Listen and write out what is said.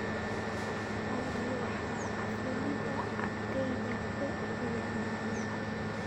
olly waxa aflaanta agteyda ku ciyaaraya